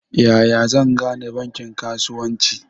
Yaya zan gane bankin kasuwanci?